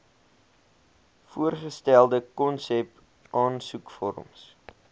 voorgestelde konsep aansoekvorms